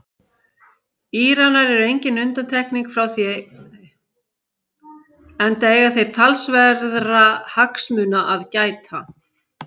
Íranar eru engin undantekning frá því enda eiga þeir þar talsverðra hagsmuna að gæta.